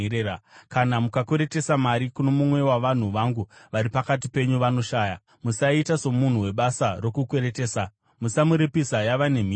“Kana mukakweretesa mari kuno mumwe wavanhu vangu vari pakati penyu vanoshaya, musaita somunhu webasa rokukweretesa; musamuripisa yava nemhindu.